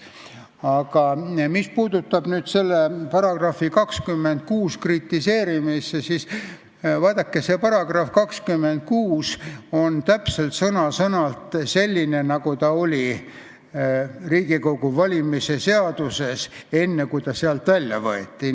Aga mis puudutab § 26 kritiseerimist, siis vaadake, see § 26 on sõna-sõnalt selline, nagu ta oli Riigikogu valimise seaduses enne, kui ta sealt välja võeti.